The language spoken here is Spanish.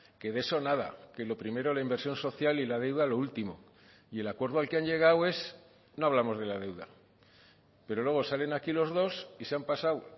que de eso nada que lo primero la inversión social y la deuda lo último y el acuerdo al que han llegado es no hablamos de la deuda pero luego salen aquí los dos y se han pasado